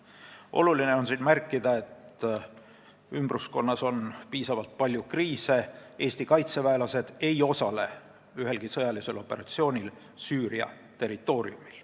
Oluline on märkida, et ümbruskonnas on piisavalt palju kriise ja Eesti kaitseväelased ei osale ühelgi sõjalisel operatsioonil Süüria territooriumil.